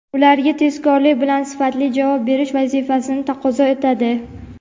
ularga tezkorlik bilan sifatli javob berish vazifasini taqozo etadi.